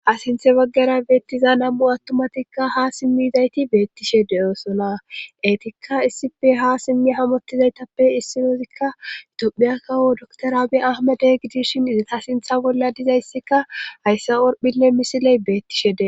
Asinthe baggara beettiza namu attomatikka ha simmizayti beettishe deyoosona eetikka issipe ha simmi hamottizaytappe issidoozikkaitophiyakkawo daktorabe ahmade gidishin asintha bolla dizayssika hayssa orphinne misiley beettishe de